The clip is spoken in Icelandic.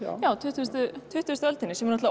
á tuttugustu tuttugustu öldinni sem er